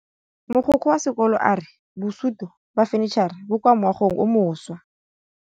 Mogokgo wa sekolo a re bosutô ba fanitšhara bo kwa moagong o mošwa.